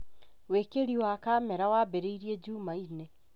Wĩĩkĩri wa kamera wambĩrĩirie jumaine